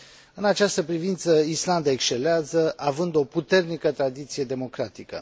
În această privință, Islanda excelează, având o puternică tradiție democratică.